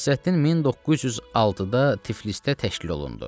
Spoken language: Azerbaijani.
Molla Nəsrəddin 1906-da Tiflisdə təşkil olundu.